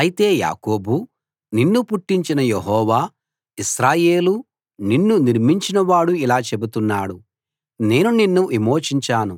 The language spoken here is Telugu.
అయితే యాకోబూ నిన్ను పుట్టించిన యెహోవా ఇశ్రాయేలూ నిన్ను నిర్మించినవాడు ఇలా చెబుతున్నాడు నేను నిన్ను విమోచించాను